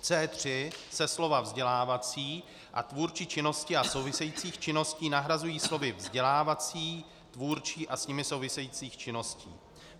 V C3 se slova "vzdělávací a tvůrčí činnosti a souvisejících činností" nahrazují slovy "vzdělávací, tvůrčí a s nimi souvisejících činností".